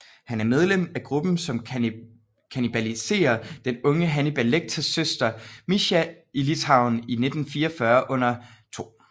Han er medlem af gruppen som kannibaliserer den unge Hannibal Lecters søster Mischa i Litauen i 1944 under 2